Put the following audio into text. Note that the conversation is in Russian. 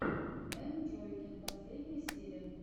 энджойкин последняя серия